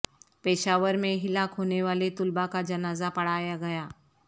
پشاور میں ہلاک ہونے والے طلبہ کا جنازہ پڑھایا گیا